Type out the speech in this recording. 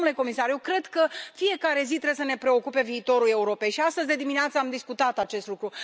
Dar, domnule comisar, eu cred că în fiecare zi trebuie să ne preocupe viitorul Europei și astăzi de dimineață am discutat acest lucru.